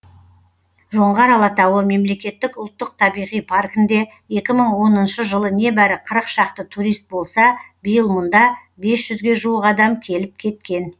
жоңғар алатауы мемлекеттік ұлттық табиғи паркінде екі мың оныншы жылы небәрі қырық шақты турист болса биыл мұнда бес жүзге жуық адам келіп кеткен